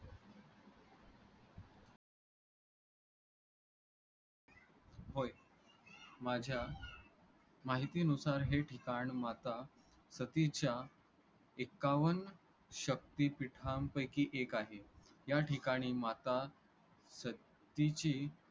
होय. माझ्या माहितीनुसार हे ठिकाण माता सतीच्या एक्कावन शक्तिपीठांपैकी एक आहे. या ठिकाणी माता सतीची